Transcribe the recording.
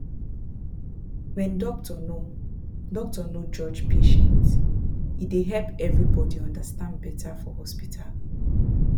when doctor no doctor no judge patient e dey help everybody understand better for hospital